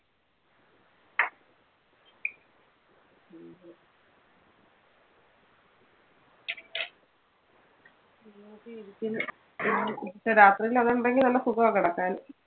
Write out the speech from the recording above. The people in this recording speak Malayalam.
ഹും പക്ഷെ രാത്രിയിൽ അതുണ്ടെങ്കിൽ നല്ല സുഖവാ കിടക്കാൻ.